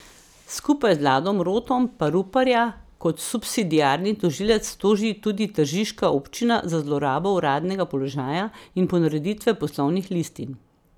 Skupaj z Ladom Rotom pa Ruparja kot subsidiarni tožilec toži tudi tržiška občina za zlorabo uradnega položaja in ponareditve poslovnih listin.